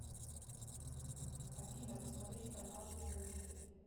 афина посмотреть канал кинокомедия